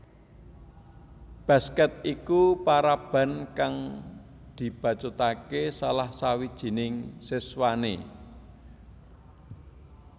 Basket iku paraban kang dibacutake salah sawijining siswane